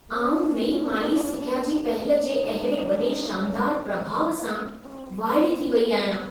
आउं नईं माली सिख्या जी पहल जे अहिड़े वॾे शानदारु प्रभाउ सां वाइड़ी थी वई आहियां।